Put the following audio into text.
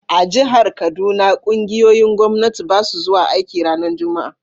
A'jihar Kaduna, ƙungiyoyin Gwamnati basu zuwa aiki ranan Juma'a.